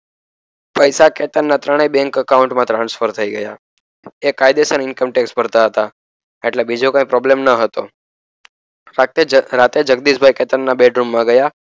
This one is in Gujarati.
પૈસા કેતનના ત્રણે બેન્ક account મા transfer થઈ ગયા એ કાયદેસર income tax ભરતા હતા એટલે બીજો કઈ problem ન હતો રાત્રે જગદીશભાઇ કેતનના બેડરૂમ માં ગયા